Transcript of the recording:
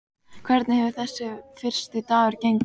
Hvernig hefur þessi fyrsti dagur gengið?